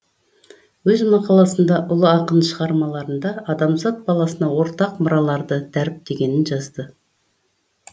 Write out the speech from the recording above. өз мақаласында ол ұлы ақын шығармаларында адамзат баласына ортақ мұраларды дәріптегенін жазды